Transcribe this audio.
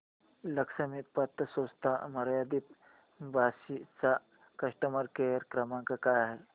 लक्ष्मी पतसंस्था मर्यादित बार्शी चा कस्टमर केअर क्रमांक काय आहे